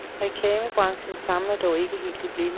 Reklamebranchen famler dog ikke helt i blinde.